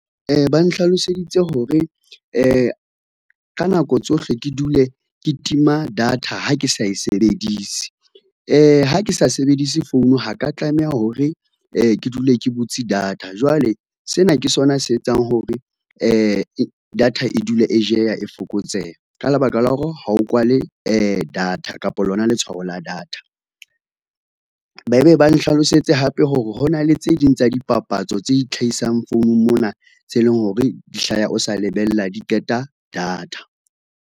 Ba nhlaloseditse hore ka nako tsohle ke dule ke tima data ha ke sa e sebedise. Ha ke sa sebedise phone ha ka tlameha hore, ke dule ke butse data jwale, sena ke sona se etsang hore data e dule e jeya, e fokotseha ka lebaka la hore ha o kwale data kapa lona letshwao la data. Ba be ba nhlalosetse hape hore hona le tse ding tsa dipapatso tse itlhahisang founung mona tse leng hore di hlaha o sa lebella di qeta data.